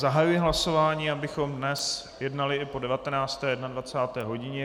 Zahajuji hlasování, abychom dnes jednali i po 19. a 21. hodině.